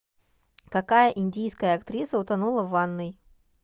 какая индийская актриса утонула в ванной